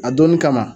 A donni kama